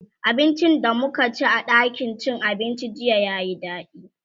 abincin da mukaci a ɗakin cin abincin jiya yayi daɗi